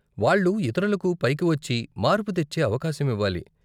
వాళ్ళు ఇతరులకు పైకి వచ్చి, మార్పు తెచ్చే అవకాశం ఇవ్వాలి.